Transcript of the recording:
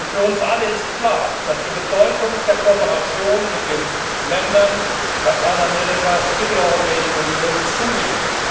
Für uns alle ist klar, dass die Bedeutung der Kooperation mit den Ländern Lateinamerikas für die Europäische Union zunimmt.